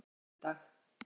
föstudag